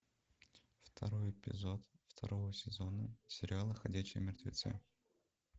второй эпизод второго сезона сериала ходячие мертвецы